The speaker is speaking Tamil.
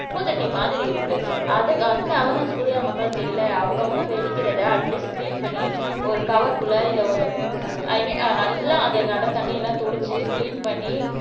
குப்பைத்தொட்டி மாதிரி இருக்கு அது அந்த அவரென்ஸ் கூடயா மக்கள்கிட்ட இல்லை அவங்கவங்க வெடிக்கிறதை அட்லீஸ் கிளீன் பண்ணி ஒரு கவர்க்குள்ளே இல்லை ஒரு ஐ மீன் அஹ் நல்லா அதை நல்லா தண்ணி எல்லாம் தெளிச்சு கிளீன் பண்ணி